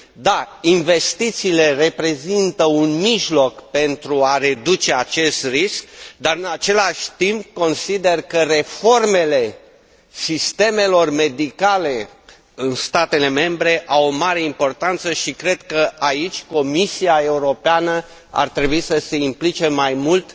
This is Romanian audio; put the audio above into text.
Dar, investițiile reprezintă un mijloc pentru a reduce acest risc, dar, în același timp, consider că reformele sistemelor medicale în statele membre au o mare importanță și cred că aici Comisia Europeană ar trebui să se implice mai mult